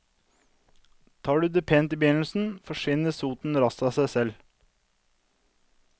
Tar du det pent i begynnelsen, forsvinner soten raskt av seg selv.